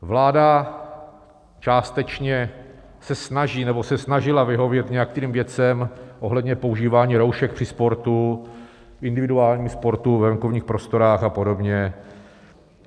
Vláda částečně se snaží nebo se snažila vyhovět nějakým věcem ohledně používání roušek při sportu, individuálním sportu ve venkovních prostorách a podobně.